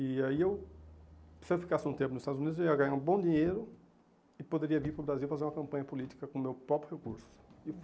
E aí, eu se eu ficasse um tempo nos Estados Unidos, eu ia ganhar um bom dinheiro e poderia vir para o Brasil fazer uma campanha política com o meu próprio recurso.